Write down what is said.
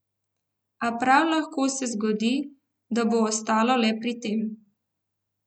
A prav lahko se zgodi, da bo ostalo le pri tem.